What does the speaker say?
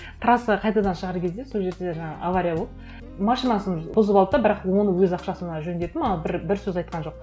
трассаға қайтадан шығар кезде сол жерде жаңағы авария болып машинасын бұзып алды да бірақ оны өз ақшасына жөндеді маған бір бір сөз айтқан жоқ